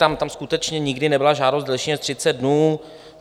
Tam skutečně nikdy nebyla žádost delší než 30 dnů.